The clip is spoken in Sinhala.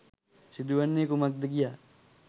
සිදුවන්නේ කුමක්ද කියා